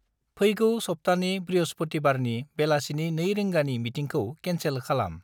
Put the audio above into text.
फैगौ सप्तानि बृहपुथिबारनि बेलासिनि 2 रिंगानि मिटिंखौ केनसेल खालाम।